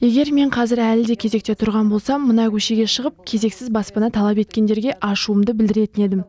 егер мен қазір әлі де кезекте тұрған болсам мына көшеге шығып кезексіз баспана талап еткендерге ашуымды білдіретін едім